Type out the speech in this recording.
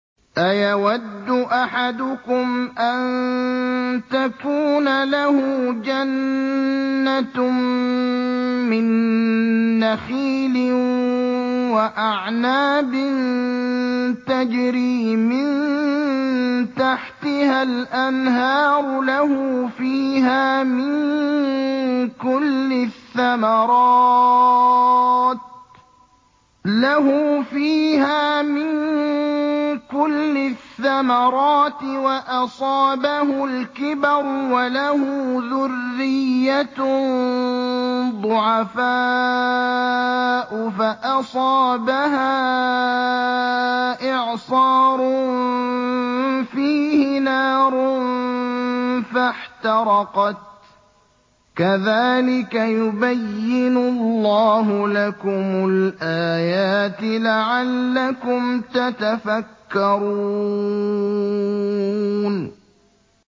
أَيَوَدُّ أَحَدُكُمْ أَن تَكُونَ لَهُ جَنَّةٌ مِّن نَّخِيلٍ وَأَعْنَابٍ تَجْرِي مِن تَحْتِهَا الْأَنْهَارُ لَهُ فِيهَا مِن كُلِّ الثَّمَرَاتِ وَأَصَابَهُ الْكِبَرُ وَلَهُ ذُرِّيَّةٌ ضُعَفَاءُ فَأَصَابَهَا إِعْصَارٌ فِيهِ نَارٌ فَاحْتَرَقَتْ ۗ كَذَٰلِكَ يُبَيِّنُ اللَّهُ لَكُمُ الْآيَاتِ لَعَلَّكُمْ تَتَفَكَّرُونَ